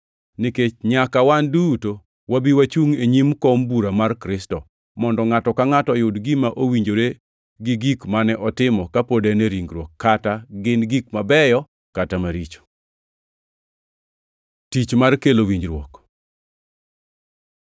Nikech nyaka wan duto wabi wachungʼ e nyim kom bura mar Kristo, mondo ngʼato ka ngʼato oyud gima owinjore gi gik mane otimo kapod en ringruok kata gin gik mabeyo, kata maricho. Tich mar kelo winjruok